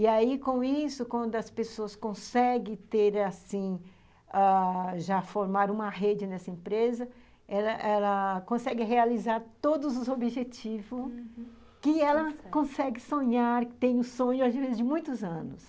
E aí, com isso, quando as pessoas conseguem ter, assim, ãh já formar uma rede nessa empresa, ela ela consegue realizar todos os objetivos, uhum, que ela consegue sonhar, que tem o sonho, às vezes, de muitos anos.